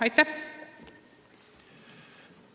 Aitäh!